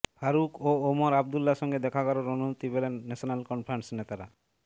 ফারুখ ও ওমর আবদুল্লার সঙ্গে দেখা করার অনুমতি পেলেন ন্যাশনাল কনফারেন্স নেতারা